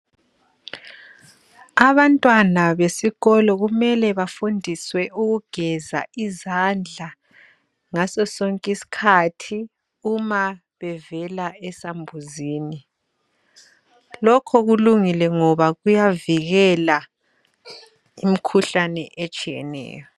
Abantwana besikolo kumele bafundiswe ukugeza izandla ngaso sonkiskhathi uma bevela esambuzini, lokhu kulungile ngoba kuyavikela imkhuhlane etshiyeneyo.